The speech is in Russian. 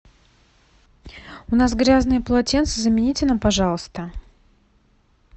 у нас грязные полотенца замените нам пожалуйста